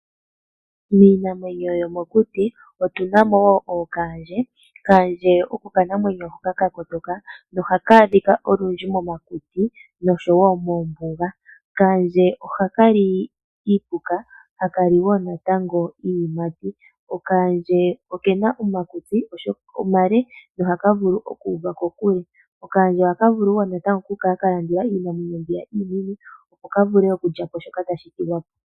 Miinamwenyo yomokuti omuna woo kaandje. Kaandje oko okanamwenyo hoka ka kotoka no haka adhika momakuti nosho wo moombuga. Kaandje ohali iipuka niiyimati. Okena omakutsi omale, no haka vulu okuuva kokule. Ohaka vulu woo okukala ka landula iinamwenyo mbyoka iinene opo ka vule okulya po shoka tayi thigi po.